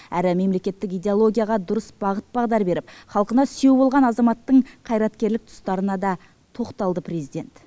әрі мемлекеттік идеологияға дұрыс бағыт бағдар беріп халқына сүйеу болған азаматтың қайраткерлік тұстарына да тоқталды президент